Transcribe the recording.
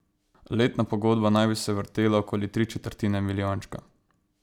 Letna pogodba naj bi se vrtela okoli tri četrtine milijončka.